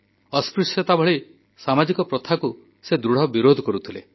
ସେ ଅସ୍ପୃଶ୍ୟତା ଭଳି ସାମାଜିକ କୁପ୍ରଥାକୁ ଦୃଢ଼ ବିରୋଧ କରୁଥିଲେ